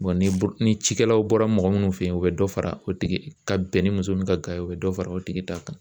ni cikɛlaw bɔra mɔgɔ minnu fɛ yen u bɛ dɔ fara o tigi ka bɛn ni muso min ka ga ye o bɛ dɔ fara o tigi ta kan